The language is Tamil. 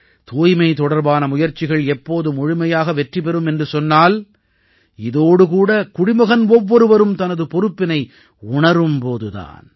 தூய்மை தொடர்பான முயற்சிகள் எப்போது முழுமையாக வெற்றி பெறும் என்று சொன்னால் இதோடு கூட குடிமகன் ஒவ்வொருவரும் தனது பொறுப்பினை உணரும் போது தான்